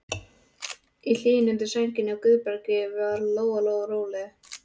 Í hlýjunni undir sænginni hjá Guðbergi varð Lóa-Lóa rólegri.